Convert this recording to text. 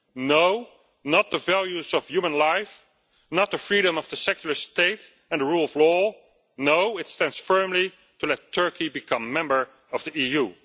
No, not the values of human life, not the freedom of the secular state and rule of law. No, it stands firmly to let Turkey become a member of the